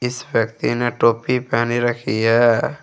इस व्यक्ति ने टोपी पहनी रखी है।